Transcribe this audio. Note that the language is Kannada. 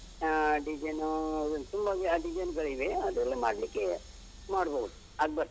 ಆ, design ಉ ಒಂದ್ ತುಂಬ design ಗಳಿವೆ ಅದೆಲ್ಲ ಮಾಡ್ಲಿಕ್ಕೆ ಮಾಡ್ಬೋದು ಅದ್ ಬರ್ತದೆ